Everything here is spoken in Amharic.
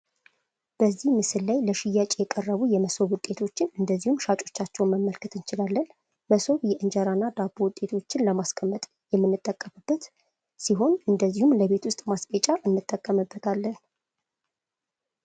በዚህ ምስል ላይ ለሽያጭ የቀረቡ የመሶብ ውጤቶችን እንደዚሁም ሻጮቻቸውን መመልከት እንችላለን ። መሶብ የ እንጀራ እና ዳቦ ውጤቶችን ለማስቀመጥ የምንጠቀምበት ሲሆን እንደዚሁም ለቤት ውስጥ ማስጌጫ እንጠቀምበታለን ።